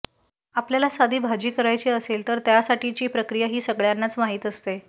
आपल्याला साधी भाजी करायची असेल तर त्यासाठीची प्रक्रिया ही सगळय़ांनाच माहीत असते